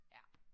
Ja